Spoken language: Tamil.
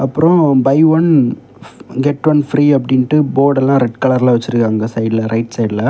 அப்ரோ buy one get one free அப்டின்ட்டு போர்ட் எல்லாம் ரெட் கலர்ல வச்சிருக்காங்க சைடுல ரைட் சைட்ல .